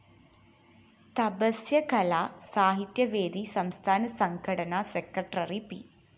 തപസ്യകലാ സാഹിത്യവേദി സംസ്ഥാന സംഘടനാ സെക്രട്ടറി പി